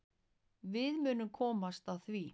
Við munum komast að því.